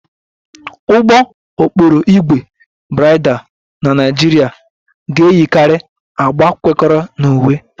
Ụgbọ okporo ígwè bridal na Nigeria ga-eyikarị agba kwekọrọ na uwe